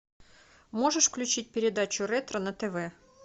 можешь включить передачу ретро на тв